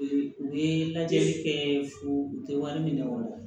U ye lajɛli kɛ fo u tɛ wari minɛ wa